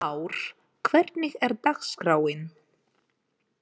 Lár, hvernig er dagskráin?